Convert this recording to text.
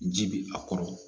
Ji bi a kɔrɔ